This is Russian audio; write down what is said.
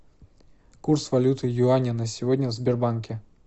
курс валюты юаня на сегодня в сбербанке